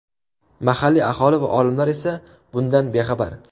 Mahalliy aholi va olimlar esa bundan bexabar.